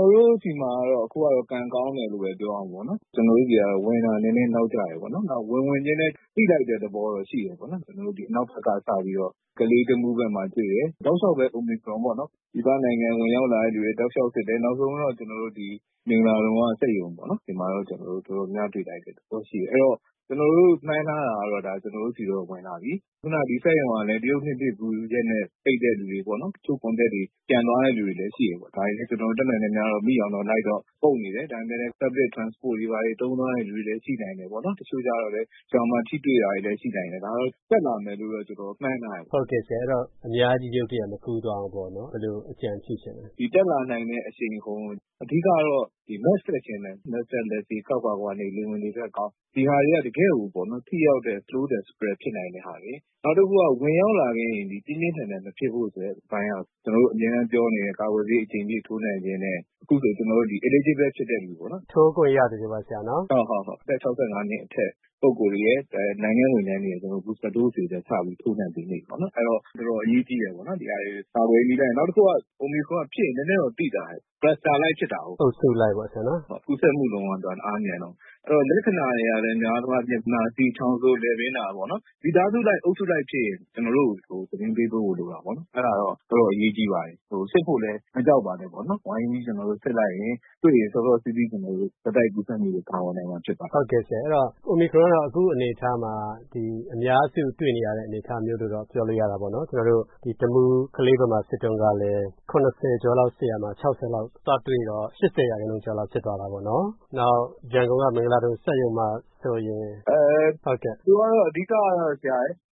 ော်တို့ဆီမှာတော့ အခုက ကံကောင်းတယ်လို့ပဲ ပြောရမှာပေါ့။ ကျနော်တို့ဆီက ဝင်တာ နည်းနည်းနောက်ကျတယ်ပေါ့။ နောက် ဝင်ဝင်ချင်းလည်း သိလိုက်တဲ့သဘောတော့ ရှိတယ်။ အနောက်ဘက်က စပြီးတော့ ကလေး၊ တမူးဘက်မှာ တွေ့တယ်၊ တောက်လျှောက်ပဲ အိုမီခရွန်ပေါ့၊ ပြည်ပနိုင်ငံက ဝင်လာတဲ့လူတွေ တောက်လျှောက် စစ်တယ်၊ နောက်ဆုံးတော့ မင်္ဂလာဒုံက စက်ရုံပေါ့၊ အဲဒီမှာတော့ တော်တော်များများ တွေ့လိုက်တဲ့သဘော ရှိတယ်။ အဲဒီတော့ ကျနော်တို့ မှန်းထားတာတော့ ဒါ ကျနော်တို့ဆီတော့ ဝင်လာပြီ၊ ခုနစက်ရုံကလည်း တရုတ်နှစ်သစ်ကူးရက်နဲ့ ပိတ်တဲ့လူတွေပေါ့၊ တချို့ Contact တွေ ပြန်သွားတဲ့ လူတွေလည်း ရှိတယ်။ ဒါလည်း ကျနော်တို့ တတ်နိုင်သမျှ မိအောင်တော့ လိုက်အုပ်နေတယ်။ ဒါပေမယ့်လည်း Public Transport တွေဘာတွေ သုံးသွားတဲ့လူတွေလည်း ရှိနိုင်တယ်။ တချို့ကျတော့လည်း ရွာမှာ ထိတွေ့တာလည်း ရှိနိုင်တယ်။ ဒါက တက်လာမယ်လို့တော့ ကျနော်တို့ မှန်းထားတယ်။ အများကြီး ရုတ်တရက် မကူးသွားအောင် ဘယ်လို အကြံပြုချင်လဲ။ တက်လာနိုင်တဲ့ အရှိန်အဟုန်ကို၊ အဓိကတော့ Mask တပ်ခြင်းပဲ၊ Mask တပ်၊ လက်ဆေး၊ ခပ်ခွာခွာနေ၊ လေဝင်လေထွက်ကောင်း၊ ဒီဟာတွေက တကယ့်ကို ထိရောက်တဲ့ Slow the Spread ဖြစ်နိုင်တဲ့ဟာတွေ။ နောက်တခုက ဝင်ရောက်လာခဲ့ရင် ပြင်းပြင်းထန်ထန် မဖြစ်ဖို့အတွက် အပိုင်းက ကျနော်တို့ အမြဲတမ်း ပြောနေတဲ့ ကာကွယ်ဆေး အကြိမ်ဖြည့် ထိုးနှံခြင်းနဲ့ အခုဆို ကျနော်တို့ Eligible ဖြစ်တဲ့လူပေါ့။ အသက် ၆၅ နှစ်အထက် ပုဂ္ဂိုလ်တွေရယ်၊ နိုင်ငံ့ဝန်ထမ်းတွေရယ် အခု Booster Dose တွေ စထိုးနှံပေးနေပြီ။ အဲဒါ တော်တော်အရေးကြီးတယ် ကာကွယ်ရေးနည်းလမ်း။ နောက်တခုက အိုမီခရွန်က ဖြစ်ရင် နည်းနည်းတော့ သိသာတယ်။ Cluster လိုက် ဖြစ်တာကိုး။ ကူးစက်မှုနှုန်းက သူက တအားမြန်တော့။ လက္ခဏာတွေကလည်း များသောအားဖြင့် နှာစေး၊ ချောင်းဆိုး၊ လည်ပင်းနာပေါ့။ မိသားစုလိုက် အုပ်စုလိုက်ဖြစ်ရင် ကျနော်တို့ကို သတင်းပေးဖို့ လိုတာပေါ့။ အဲဒါတော့ တော်တော်အရေးကြီးပါတယ်။ စစ်ဖို့လည်း မကြောက်ပါနဲ့။ ဝိုင်းပြီး စစ်လိုက်ရင် တွေ့ရင် စောစောစီးစီး ဆက်တိုက်ကူးစက်မှုတွေ ကာကွယ်နိုင်မှာ ဖြစ်ပါတယ်။ အိုမီခရွန်ကတော့ အခုအနေအထားမှာ အများစု တွေ့နေရတဲ့ အနေအထားမျိုးလို့ ပြောလို့ရတာပေါ့နော်။ တမူး၊ ကလေးဘက်မှာ စစ်တုန်းကလည်း ၇၀ ကျော်လောက် စစ်ရာမှာ ၆၀ လောက် သွားတွေ့တော့ ၈၀ ရာခိုင်နှုန်းကျော်လောက် ဖြစ်သွားတာပေါ့။ နောက် ရန်ကုန်က မင်္ဂလာဒုံစက်ရုံမှာဆိုရင်…။ သူက အဓိကတော့